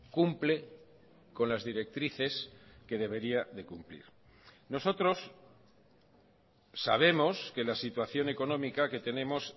cumple con las directrices que debería de cumplir nosotros sabemos que la situación económica que tenemos